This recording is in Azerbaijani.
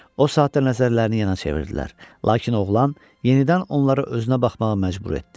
O saatda nəzərlərini yana çevirdilər, lakin oğlan yenidən onları özünə baxmağa məcbur etdi.